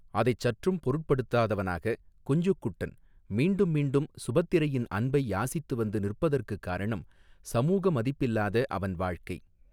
அதைச் சற்றும் பொருட்படுத்தாதவனாக குஞ்ஞுக்குட்டன், மீண்டும் மீண்டும் சுபத்திரையின் அன்பை யாசித்து வந்து நிற்பதற்குக் காரணம், சமூக மதிப்பில்லாத அவன் வாழ்க்கை.